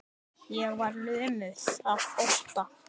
Ég var lömuð af ótta.